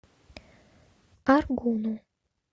аргуну